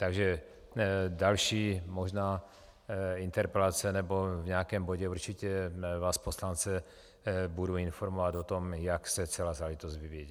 Takže další možná interpelace, nebo v nějakém bodě určitě vás poslance budu informovat o tom, jak se celá záležitost vyvíjí.